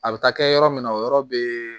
A bɛ taa kɛ yɔrɔ min na o yɔrɔ bɛ